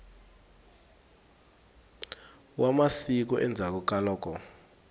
wa masiku endzhaku ka loko